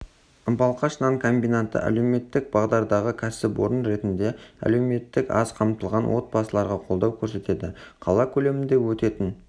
балқаш нан комбинаты әлеуметтік бағдардағы кәсіпорын ретінде әлеуметтік аз қамтылған отбасыларға қолдау көрсетеді қала көлемінде өтетін